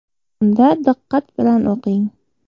Unda diqqat bilan o‘qing.